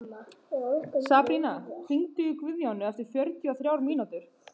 Sabrína, hringdu í Guðjóníu eftir fjörutíu og þrjár mínútur.